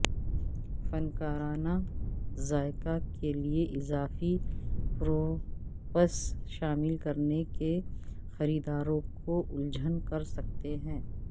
فنکارانہ ذائقہ کے لئے اضافی پروپس شامل کرنے کے خریداروں کو الجھن کر سکتے ہیں